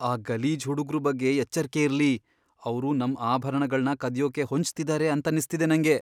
ಆ ಗಲೀಜ್ ಹುಡುಗ್ರು ಬಗ್ಗೆ ಎಚ್ಚರ್ಕೆ ಇರ್ಲಿ. ಅವ್ರು ನಮ್ ಆಭರಣಗಳ್ನ ಕದಿಯೋಕೆ ಹೊಂಚ್ತಿದಾರೆ ಅಂತನ್ನಿಸ್ತಿದೆ ನಂಗೆ.